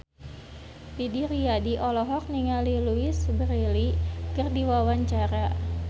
Didi Riyadi olohok ningali Louise Brealey keur diwawancara